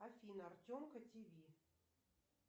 афина артемка тв